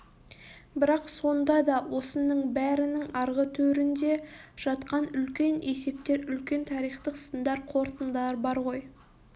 бірақ сонда да осының бәрінің арғы төрінде жатқан үлкен есептер үлкен тарихтық сындар қорытындылар бар ғой